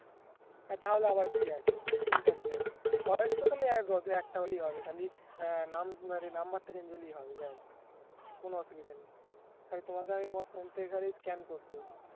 তা হলে আবার কি আছে চিন্তার কি আছে voice তো খালি একটা হলেই হবে খালি আহ নাম আড়ি number টা change হলেই হবে ব্যাস কোনো অসুবিধা নেই খালি তোমাকে আমি তোমার ফোন থেকে খালি scan code দেব